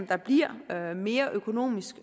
der bliver mere økonomisk